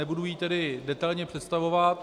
Nebudu ji tedy detailně představovat.